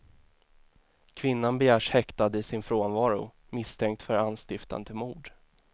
Kvinnan begärs häktad i sin frånvaro, misstänkt för anstiftan till mord.